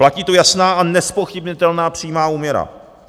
Platí tu jasná a nezpochybnitelná přímá úměra.